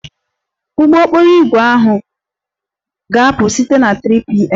Ụgbọ okporo ígwè ahụ ga-apụ site na 3pm